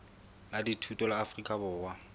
la dithuto la afrika borwa